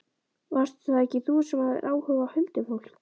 Varst það ekki þú sem hafðir áhuga á huldufólki?